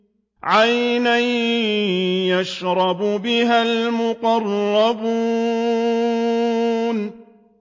عَيْنًا يَشْرَبُ بِهَا الْمُقَرَّبُونَ